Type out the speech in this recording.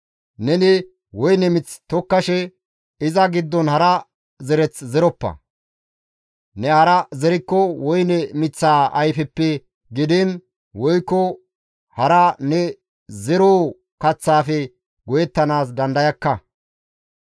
Neni woyne mith tokkashe iza giddon hara zereth zeroppa; ne hara zerikko woyne miththaa ayfeppe gidiin woykko hara ne zeroo kaththaafe go7ettanaas dandayakka.